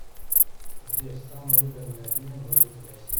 сбер самый выгодный обмен валюты в россии